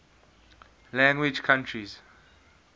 language countries